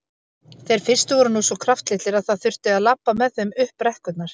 Þeir fyrstu voru nú svo kraftlitlir að það þurfti að labba með þeim upp brekkurnar.